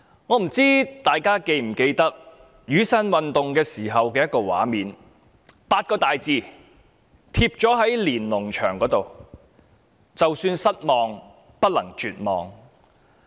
我不知道大家是否記得雨傘運動時的一個畫面，當時有8個大字貼在"連儂牆"上，就是"就算失望，不能絕望"。